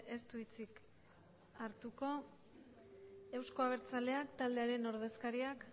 ez du hitzik hartuko eusko abertzaleak taldearen ordezkariak